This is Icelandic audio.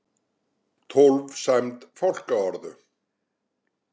Tólf sæmd fálkaorðu